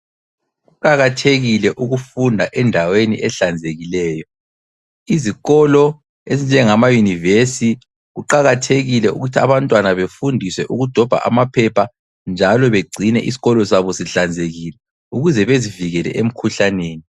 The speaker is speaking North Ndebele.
Kuqakathekile ukufunda endaweni ehlanzekileyo. Izikolo ezinjengama University. Kuqakathekile ukuthi abantwana befundiswe ukudobha amaphepha njalo begcine isikolo sabo sihlanzekile ukuze bezivikele emkhuhlaneni.